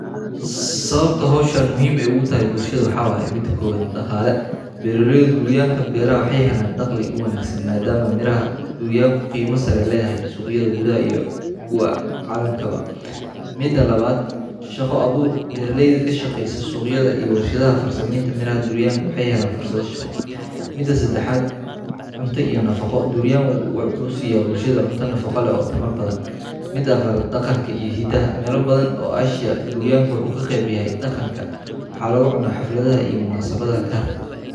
Sawabta bahashan muhiim ogu tahay bulshaada waxaa waye mida kowaad daqale beera leyda waxee helan daqli mida lawaad shaqo abur mida sadaxaad mida mida afaraad shaqa aburka bulshaada waxuu ku cawiya shaqa abur.